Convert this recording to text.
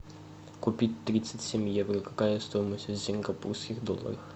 купить тридцать семь евро какая стоимость в сингапурских долларах